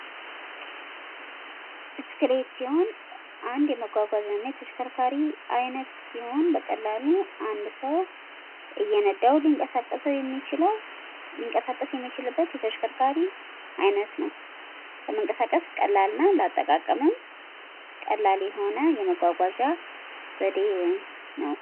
ብስክሌት ሲሆን አንድ የመጓጓዣ እና የተሽከርካሪ አይነት ሲሆን በቀላሉ አንድ ሰው እየነዳው ሊንቀሳቀሰው የሚችለው ሊንቀሳቀስ የሚችልበት የተሽከርካሪ አይነት ነው። ለመንቀሳቀስ ቀላል እና ለአጠቃቀምም ቀላል የሆነ የመጓጓዣ ዘዴ ወይም ነው።